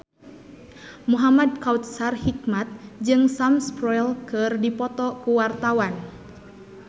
Muhamad Kautsar Hikmat jeung Sam Spruell keur dipoto ku wartawan